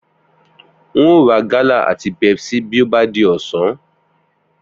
N óò ra gálà àti Pepsi bí ó bá di ọ̀sán